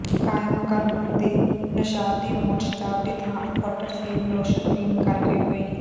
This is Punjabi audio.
ਕਾਯਾਮਕੁਲੰਮ ਦੇ ਨੌਸ਼ਾਦ ਦੀ ਮੌਤ ਸ਼ਰਾਬ ਦੀ ਥਾਂ ਆਫ਼ਟਰ ਸ਼ੇਵ ਲੋਸ਼ਨ ਪੀਣ ਕਰਕੇ ਹੋਈ